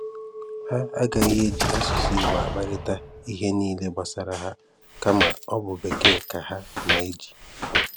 Hà anàghị eji asụ̀sụ́ Ìgbò akparịta ihe niile gbasàrà hà, kàmá ọ bụ̀ Békèe ka hà na-eji.